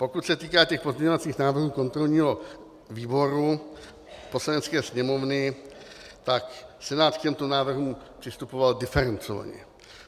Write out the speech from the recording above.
Pokud se týká těch pozměňovacích návrhů kontrolního výboru Poslanecké sněmovny, tak Senát k těmto návrhům přistupoval diferencovaně.